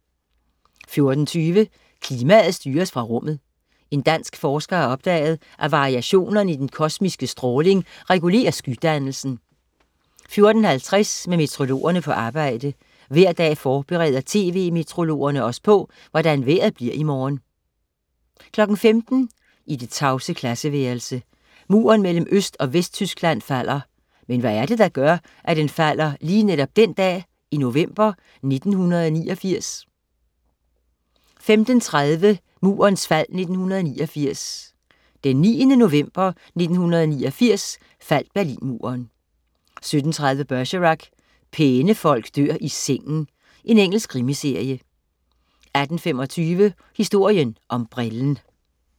14.20 Klimaet styres fra rummet. En dansk forsker har opdaget, at variationerne i den kosmiske stråling regulerer skydannelsen 14.50 Med meteorologerne på arbejde. Hver dag forbereder tv-meteorologerne os på, hvordan vejret bliver i morgen 15.00 I det tavse klasseværelse. Muren mellem Øst- og Vesttyskland falder. Men hvad er det, der gør, at den falder lige netop den dag i november 1989? 15.30 Murens fald 1989. Den 9. november 1989 faldt Berlinmuren 17.30 Bergerac: Pæne folk dør i sengen. Engelsk krimiserie 18.25 Historien om brillen